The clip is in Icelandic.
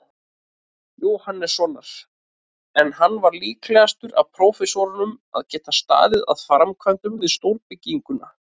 Jóhannessonar, en hann var líklegastur af prófessorunum að geta staðið að framkvæmdum við stórbyggingar.